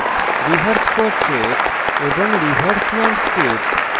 reverse portrait এবং reverse landscape